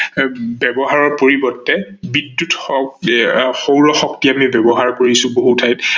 ব্যৱহাৰৰ পৰিবৰ্তে বিদ্যুৎ সৌৰ শক্তি আমি ব্যৱহাৰ কৰিছো বহু ঠাইত